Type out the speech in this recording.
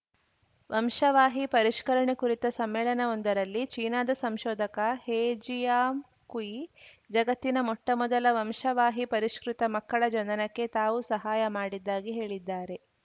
ವಂಶವಾಹಿ ಪರಿಷ್ಕರಣೆ ಕುರಿತ ಸಮ್ಮೇಳನವೊಂದರಲ್ಲಿ ಚೀನಾದ ಸಂಶೋಧಕ ಹೆ ಜಿಯಾಂಕುಯಿ ಜಗತ್ತಿನ ಮೊಟ್ಟಮೊದಲ ವಂಶವಾಹಿ ಪರಿಷ್ಕೃತ ಮಕ್ಕಳ ಜನನಕ್ಕೆ ತಾವು ಸಹಾಯ ಮಾಡಿದ್ದಾಗಿ ಹೇಳಿದ್ದಾರೆ